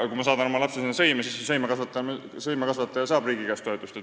Aga kui ma saadan oma lapse sõime, siis sõimekasvataja saab ju riigi käest toetust.